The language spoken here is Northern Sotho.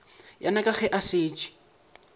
yena ke ge a šetše